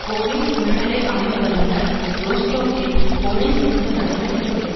police உளநிலை ஆய்வு வல்லுனர் ரோஸ்டோக்கில் போலீஸ் எடுத்த நடவடிக்கைகளை